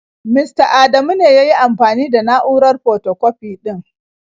Mista Adamu ne ya yi amfani da na'urar fotokwafi ɗin.